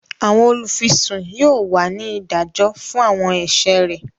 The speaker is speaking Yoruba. Awọn olufisun yóò wá ní ìdájọ fún awọn ẹṣẹ rẹ